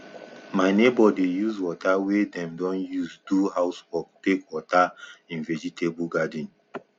my neighbor dey use water wey dem don use do house work take water im vegetable garden